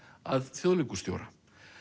að þjóðleikhússtjóra